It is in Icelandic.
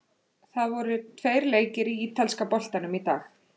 Það voru tveir leikir í ítalska boltanum í dag.